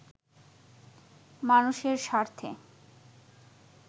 মানুষের স্বার্থে